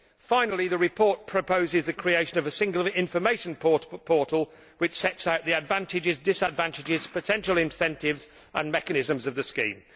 Finally the report proposes the creation of a single information portal setting out the advantages, disadvantages, potential incentives and mechanisms of EFP schemes.